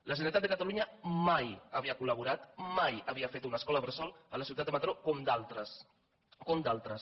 la generalitat de catalunya mai havia col·laborat mai havia fet una escola bressol a la ciutat de mataró com d’altres com d’altres